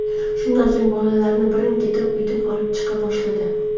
Shundan so‘ng bolalarni birin-ketin uydan olib chiqa boshladi.